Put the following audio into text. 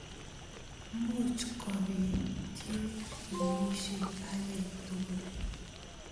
Much kopit ing kenyishek akei tugul.